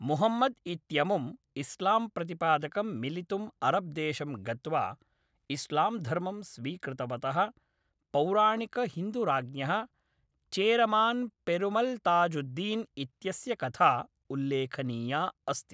मुहम्मद् इत्यमुम् इस्लाम्प्रतिपादकं मिलितुं अरब्देशं गत्वा इस्लाम्धर्मं स्वीकृतवतः पौराणिकहिन्दुराज्ञः चेरमान्पेरुमल्ताजुद्दीन् इत्यस्य कथा उल्लेखनीया अस्ति।